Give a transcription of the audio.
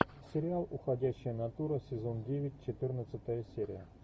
сериал уходящая натура сезон девять четырнадцатая серия